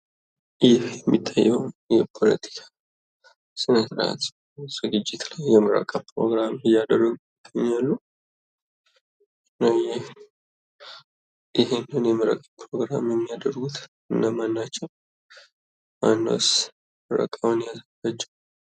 ይህ የሚታየው የፖለቲካ ስነ ስርአት ዝግጅት ላይ የምረቃ ፕሮግራም እያደረጉ እገኛሉ። ይሄንን የይምረጡ ፕሮግራም የሚያደርጉ እነማን ናቸው? አንዷስ ምረቃውን ያለፈችው?